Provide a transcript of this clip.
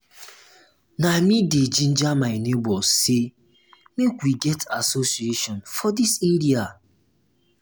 na me dey ginger my nebors sey make we get association for dis area.